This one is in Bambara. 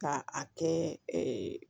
Ka a kɛ